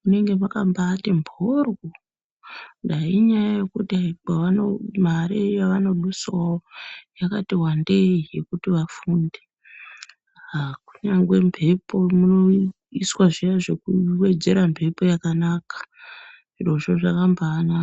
munenge maka mbaiti mboryo dai inyaya yekuti kwavano mare yavano dusawo yakati wandei yekuti vafunde aa kunyangwe mbepo ino iswa zviya zveku wedzera mbepo yakanaka zvirozvo zvakambai naka.